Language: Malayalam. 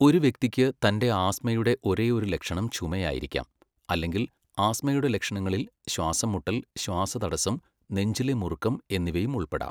ഒരു വ്യക്തിക്ക് തന്റെ ആസ്ത്മയുടെ ഒരേയൊരു ലക്ഷണം ചുമയായിരിക്കാം, അല്ലെങ്കിൽ ആസ്ത്മയുടെ ലക്ഷണങ്ങളിൽ ശ്വാസംമുട്ടൽ, ശ്വാസതടസ്സം, നെഞ്ചിലെ മുറുക്കം എന്നിവയും ഉൾപ്പെടാം.